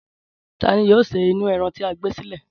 Ta ni yóò se inú e̩ran tí e̩ gbé sílè̩?